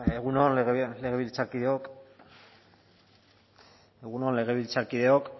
egun on legebiltzarkideok